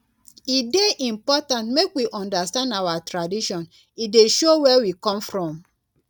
e dey important make we understand our tradition e dey show where we come from.